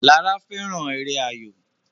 Lara fẹràn èrè ayọ.